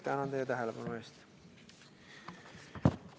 Tänan teid tähelepanu eest!